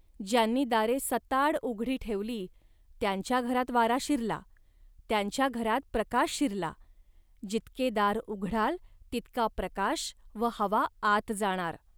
ज्यांनी दारे सताड उघडी ठेवली, त्यांच्या घरात वारा शिरला. त्यांच्या घरात प्रकाश शिरला, जितके दार उघडाल, तितका प्रकाश व हवा आत जाणार